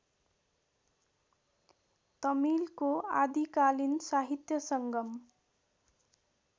तमिलको आदिकालीन साहित्य संगम